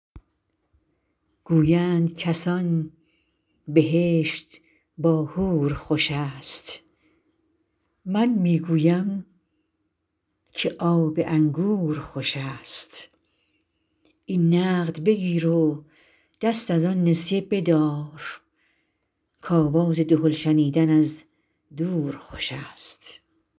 گویند کسان بهشت با حور خوش است من می گویم که آب انگور خوش است این نقد بگیر و دست از آن نسیه بدار که آواز دهل شنیدن از دور خوش است